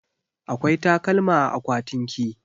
Akwai takalma a akwatinki?